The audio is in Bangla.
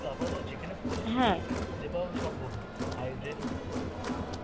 আপাতত যেখানে পরেছে সেখানে পাওয়াও সম্ভব না, high drain তো.